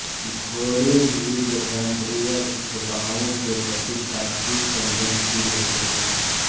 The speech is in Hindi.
घोड़े भी जठरांत्रिय दुष्प्रभावों के प्रति काफी संवेदनशील होते हैं